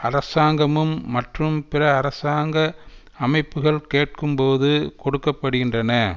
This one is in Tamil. அரசாங்கமும் மற்றும் பிற அரசாங்க அமைப்புக்கள் கேட்கும்போது கொடுக்க படுகின்றன